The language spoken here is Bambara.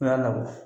O y'a labɔ